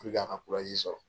a ka sɔrɔ.